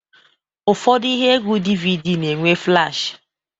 Ụfọdụ ihe egwu DVD na-enwe flash